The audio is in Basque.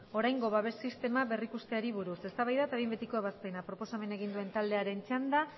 oraingo babes sistema berrikusteari buruz eztabaida eta behin betiko ebazpena proposamena egin duen taldearen txanda